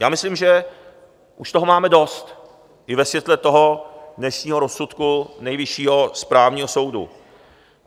Já myslím, že už toho máme dost, i ve světle toho dnešního rozsudku Nejvyššího správního soudu.